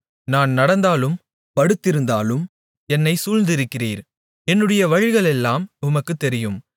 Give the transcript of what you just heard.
நான் நடந்தாலும் படுத்திருந்தாலும் என்னைச் சூழ்ந்திருக்கிறீர் என்னுடைய வழிகளெல்லாம் உமக்குத் தெரியும்